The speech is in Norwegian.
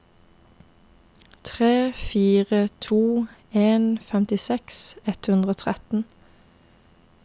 tre fire to en femtiseks ett hundre og tretten